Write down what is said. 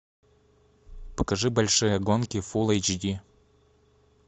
покажи большие гонки фул эйч ди